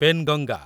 Penganga